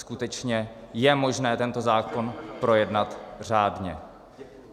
Skutečně je možné tento zákon projednat řádně.